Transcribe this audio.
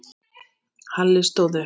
Halli stóð upp.